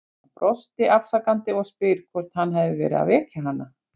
Hann brosir afsakandi og spyr hvort hann hafi verið að vekja hana.